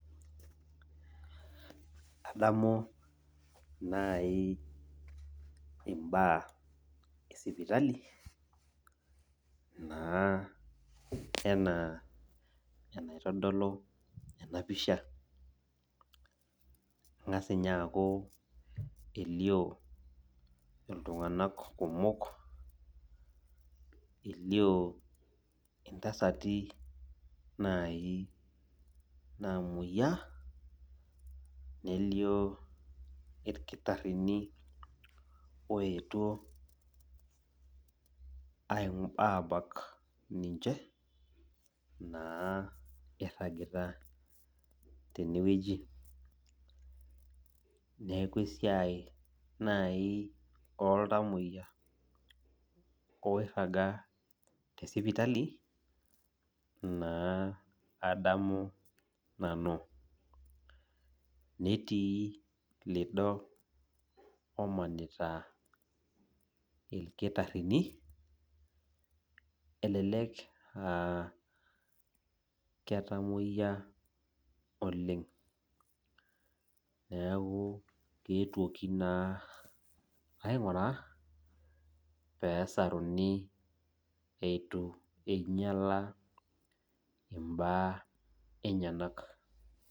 Adamu nai imbaa esipitali naa enaa enaitodolu enapisha . Engas ninye aaku elio iltunganak kumok, elio intasati nai namoyiaa, nelio irkitarini oetuo abak ninche naa iragita tenewueji. Niaku esiai naji oltamoyiak oiraga tesipitali naa adamu nanu . Netii lido omanita irkitarini , elelek aa ketamoyia oleng , neku eetuoki naa ainguraa pesaruni eton eitu inyiala imbaa enyenak.